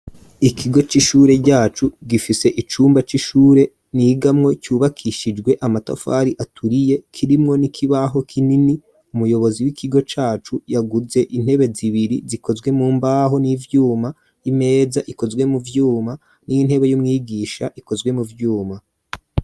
Ikigo c'ishure yacu gifise icumba c'ishure nigamwo cubakishijwe amatafari aturiye. Kirimwo n'ikibaho kinini umuyobozi w'ikigo cacu yaguze intebe zibiri zikozwe mu mbaho n'ivyuma imeza ikozwe mu vyuma n'intebe y'umwigisha ikozwe mu vyuma.